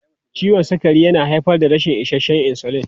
Ciwon sukari yana haifar da rashin isasshen insulin.